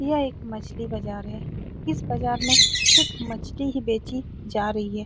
यह एक मछली बाजार है इस बाजार में सिर्फ मछली ही बेची जा रही है।